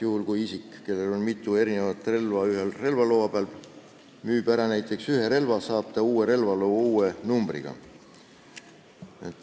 Juhul, kui isik, kellel on mitu relva ühe relvaloa peal, müüb ära näiteks ühe relva, saab ta uue relvaloa uue numbriga.